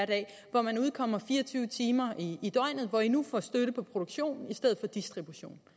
hvor man udkommer fire og tyve timer i i døgnet hvor i nu får støtte på produktion i stedet for distribution